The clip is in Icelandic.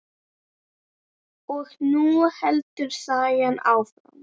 Og nú heldur sagan áfram!